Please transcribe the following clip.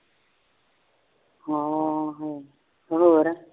ਆਹੋ ਹੋਰ